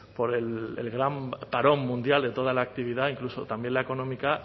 por el gran parón mundial de toda la actividad incluso también la económica